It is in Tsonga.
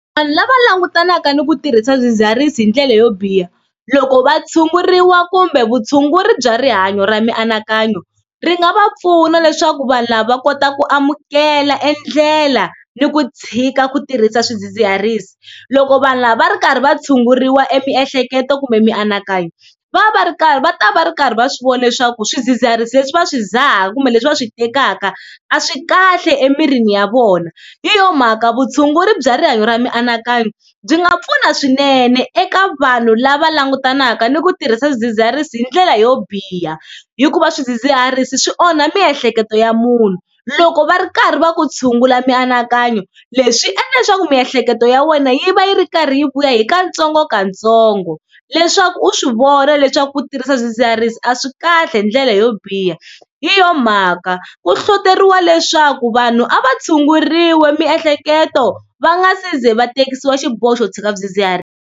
Vanhu lava langutanaka ni ku tirhisa swidzidziharisi hi ndlela yo biha loko va tshunguriwa kumbe vutshunguri bya rihanyo ra mianakanyo ri nga va pfuna leswaku vanhu lava va kota ku amukela e ndlela ni ku tshika ku tirhisa swidzidziharisi. Loko vanhu lava va ri karhi va tshunguriwa emiehleketo kumbe mianakanyo va va va ri karhi va ta va ri karhi va swi vona leswaku swidzidziharisi leswi va swi dzaha kumbe leswi va swi tekaka a swi kahle emirini ya vona, hi yo mhaka vutshunguri bya rihanyo ra mianakanyo byi nga pfuna swinene eka vanhu lava langutanaka ni ku tirhisa swidzidziharisi hi ndlela yo biha hikuva swidzidziharisi swi onha miehleketo ya munhu. Loko va ri karhi va ku tshungula mianakanyo leswi swi endla leswaku miehleketo ya wena yi va yi ri karhi yi vuya hi katsongokatsongo leswaku u swi vona leswaku ku tirhisa swidzidziharisi a swi kahle hi ndlela yo biha. Hi yo mhaka ku hlohloteriwa leswaku vanhu a va tshunguriwi miehleketo va nga si ze va terekisiwa xiboho xo tshika swidzidziharisi.